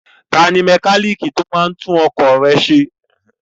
Tani mẹkálíìkì tí ó máa ń tún ọkọ̀ rẹ ṣe?